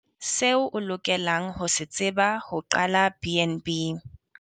Seo o lokelang ho se tseba ho qala BnB.